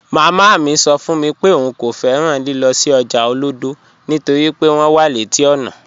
Màmá mi sọ́ fún mi pé ọ̀un kò fẹ́ràn lílọ̀ sí ọ́jà Olodo nítorí pé wọn wà leti ọ́nà